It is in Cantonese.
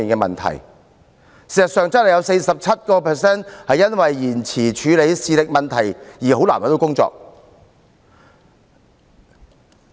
事實上，很多綜援受助人正是因為延遲處理視力問題而難以找到工作。